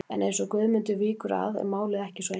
En eins og Guðmundur víkur að er málið ekki svo einfalt.